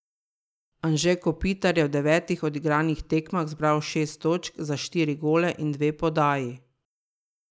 Anže Kopitar je v devetih odigranih tekmah zbral šest točk za štiri gole in dve podaji.